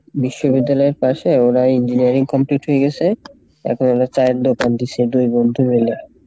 বিশ্ববিদ্যালয়ের পাশে ওরা engineering complete হয়ে গেসে এখন ওরা চায়ের দোকান দিসে দুই বন্ধু মিলে।